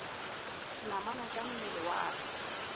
namana tša mmele wa ka